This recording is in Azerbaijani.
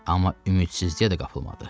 Amma ümidsizliyə də qapılmadı.